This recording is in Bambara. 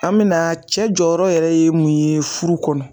An bɛ na cɛ jɔyɔrɔ yɛrɛ ye mun ye furu kɔnɔ